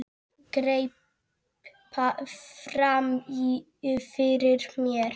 Greip fram í fyrir mér.